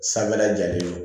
Sanfɛ la jalen